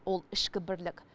ол ішкі бірлік